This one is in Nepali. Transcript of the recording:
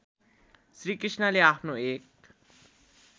श्रीकृष्णले आफ्नो एक